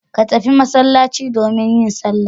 Ka tafi masallaci domin yin sallah.